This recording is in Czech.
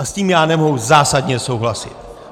A s tím já nemohu zásadně souhlasit!